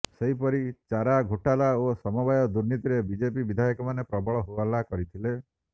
ସେହିପରି ଚାରା ଘୋଟାଲା ଓ ସମବାୟ ଦୁର୍ନୀତିରେ ବିଜେପି ବିଧାୟକମାନେ ପ୍ରବଳ ହୋହଲ୍ଲା କରିଥିଲେ